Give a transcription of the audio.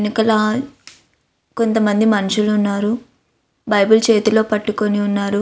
కొంతమంది మనుషులు ఉన్నారు. బైబిల్ చేతుల్లో పట్టుకుని ఉన్నారు.